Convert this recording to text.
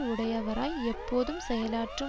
உடையவராய் எப்போதும் செயலாற்றும்